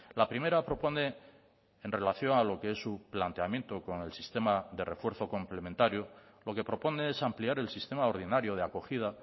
la primera propone en relación a lo que es su planteamiento con el sistema de refuerzo complementario lo que propone es ampliar el sistema ordinario de acogida